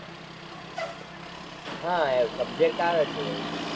હાં એ subject આવે છે એવો.